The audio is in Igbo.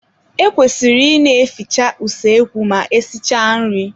E kwesịrị ị ne-efiche usoekwu ma esichaa nri.